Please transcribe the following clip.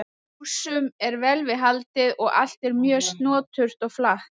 Húsum er vel við haldið og allt er mjög snoturt og flatt.